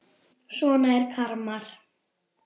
Svona er karma.